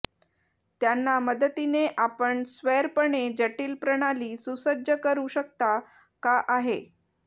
त्यांना मदतीने आपण स्वैरपणे जटिल प्रणाली सुसज्ज करू शकता का आहे